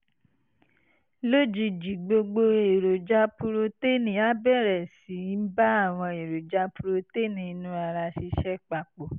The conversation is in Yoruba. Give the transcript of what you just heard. lójijì gbogbo èròjà purotéènì á bẹ̀rẹ̀ sí í bá àwọn èròjà purotéènì inú ara ṣiṣẹ́ papọ̀